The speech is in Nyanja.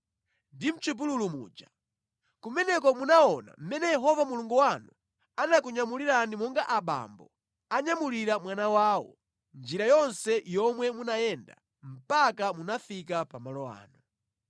ndi mʼchipululu muja. Kumeneko munaona mmene Yehova Mulungu wanu anakunyamulirani monga abambo anyamulira mwana wawo, njira yonse yomwe munayenda mpaka munafika pamalo ano.”